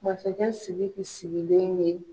Masakɛ Siriki sigilen ye